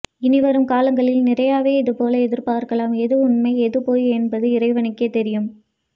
இனிவரும் காலங்களில் நிரையவே இதுபோல் எதிர்பார்க்கலாம் எது உண்மை எது பொய் என்பது இறைவனுக்கே தெரியும்